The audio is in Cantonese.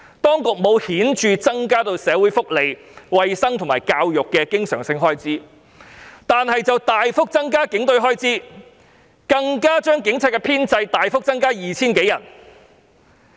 當局沒有顯著增加社會福利、衞生和教育的經常性開支，但卻大幅增加警隊開支，甚至將警隊編制大幅增加 2,000 多人。